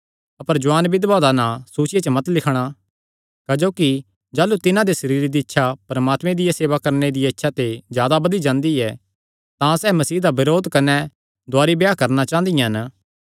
अपर जुआन बिधवां दा नां सूचिया च मत लिखणा क्जोकि जाह़लू तिन्हां दे सरीरे दी इच्छा परमात्मे दिया सेवा करणे दिया इच्छा ते जादा बधी जांदी ऐ तां सैह़ मसीह दा बरोध करी नैं दुवारी ते ब्याह करणा चांह़दियां हन